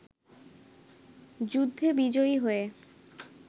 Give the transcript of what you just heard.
যুদ্ধে বিজয়ী হয়ে